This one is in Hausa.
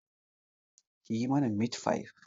Kiyi mana mitfai